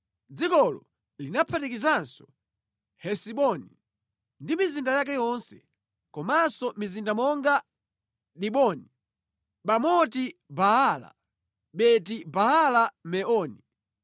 Dzikolo linaphatikizanso Hesiboni ndi mizinda yake yonse, komanso mizinda monga Diboni, Bamoti Baala, Beti-Baala-Meoni,